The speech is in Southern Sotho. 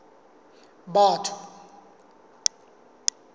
batho